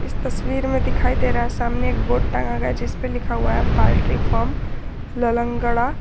इस तस्वीर में दिखाई दे रहा है सामने एक बोर्ड टांगा गया है जिसपे लिखा हुआ है पोल्ट्री फॉर्म ललगड़ा।